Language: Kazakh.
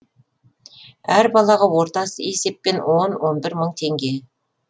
әр балаға орта есеппен он он бір мың теңге